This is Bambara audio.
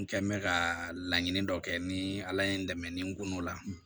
N kɛ mɛ ka laɲini dɔ kɛ ni ala ye n dɛmɛ ni n ko la